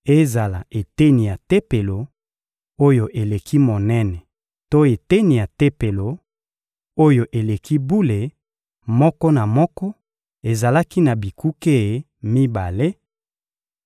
Ezala eteni ya Tempelo, oyo eleki monene to eteni ya Tempelo, oyo eleki bule, moko na moko ezalaki na bikuke mibale: